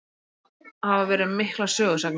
Það hafa verið miklar sögusagnir.